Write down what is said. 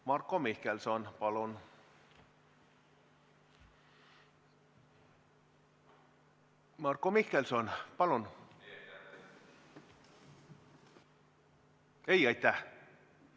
Marko Mihkelson, palun!